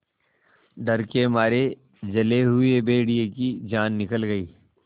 डर के मारे जले हुए भेड़िए की जान निकल गई